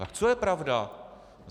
Tak co je pravda?